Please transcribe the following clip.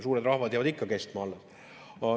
Suured rahvad jäävad kestma.